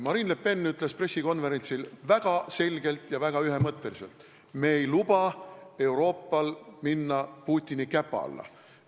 Marine Le Pen ütles pressikonverentsil väga selgelt ja ühemõtteliselt: me ei luba Euroopal minna Putini käpa alla.